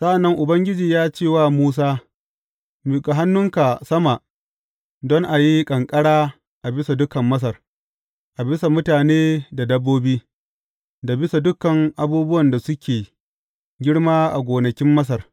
Sa’an nan Ubangiji ya ce wa Musa, Miƙa hannunka sama don a yi ƙanƙara a bisa dukan Masar, a bisa mutane da dabbobi, da bisa dukan abubuwan da suke girma a gonakin Masar.